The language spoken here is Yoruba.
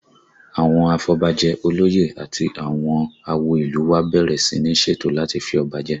Àwọn afọbajẹ, olóyè àti àwọn àwo ìlú u wa bẹ̀rẹ̀ sí ní ṣètò láti fi ọba jẹ